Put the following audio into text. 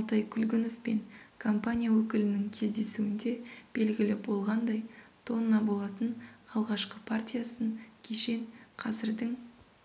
алтай күлгінов пен компания өкілінің кездесуінде белгілі болғандай тонна болатын алғашқы партиясын кешен қазірдің